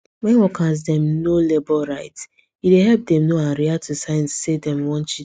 when workers dem know labor rights e dey help dem know and react to signs say dem wan cheat dem